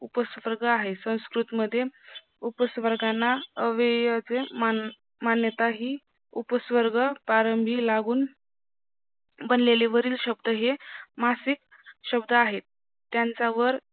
उपस्वर्ग आहे संस्कृत मध्ये उपस्वर्गाना अव्ययचे मान्यता ही उपस्वर्ग पारंबी लागून बनलेले वरील शब्द हे मासिक शब्द आहेत त्यांच्यावर